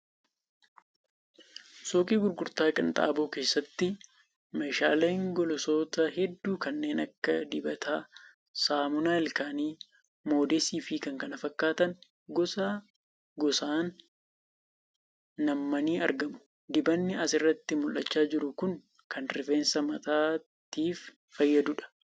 Suuqii gurgurtaa qinxaaboo keessatti meeshaaleen golosoota hedduu kanneen akka dibataa, saamunaa ilkaanii, moodeesii fi kan kana fakkaatan gos gosaan nammanii argamu. Dibanni as irratti mul'achaa jiru kun kan rifeensa mataatiif fayyaduudha.